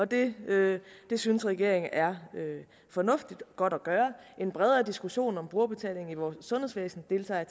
det det synes regeringen er fornuftigt og godt at gøre en bredere diskussion om brugerbetaling i vores sundhedsvæsen deltager